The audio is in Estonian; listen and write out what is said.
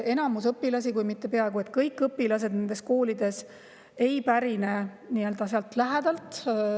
Enamus õpilasi, kui mitte peaaegu kõik õpilased nendes koolides, ei pärine sealt lähedalt.